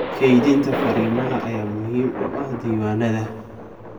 Kaydinta fariimaha ayaa muhiim u ah diiwaanada.